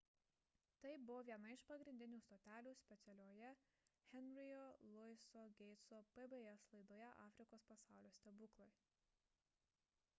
tai buvo viena iš pagrindinių stotelių specialioje henry'io louiso gateso pbs laidoje afrikos pasaulio stebuklai